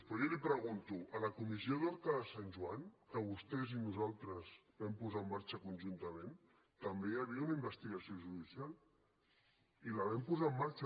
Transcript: però jo li pregunto a la comissió d’horta de sant joan que vostès i nosaltres vam posar en marxa conjuntament també hi havia una investigació judicial i la vam posar en marxa